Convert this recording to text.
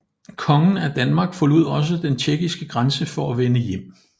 Kongen af Danmark forlod også den tjekkiske grænse for at vende hjem